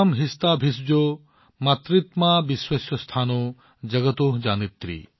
यूयं हिष्ठा भिषजो मातृतमा विश्वस्य स्थातु जगतो जनित्री